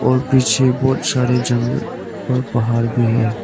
और पीछे बहोत सारे जंगल और पहाड़ भी है।